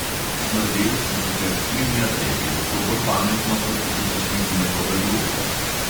Smrdelj se sicer strinja, da je bilo to bolj pametno kot zaposliti nekoga drugega.